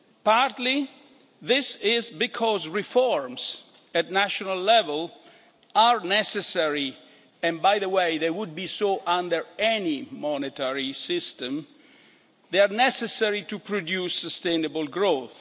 Partly, this is because reforms at national level are necessary and by the way, they would be so under any monetary system to produce sustainable growth